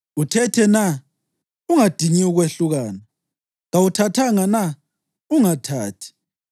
Uthethe na? Ungadingi ukwehlukana. Kawuthathanga na? Ungathathi.